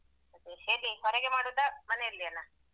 ಅದೆ ಹೇಗೆ ಹೊರಗೆ ಮಾಡುದಾ ಮನೆಯಲ್ಯೆನಾ?